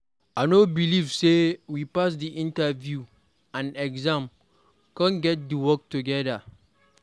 I no believe say we pass the interview and exam come get the work together.